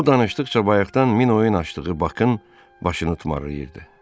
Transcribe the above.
O danışdıqca bayaqdan min oyun açdığı Bakın başını tumarlayırdı.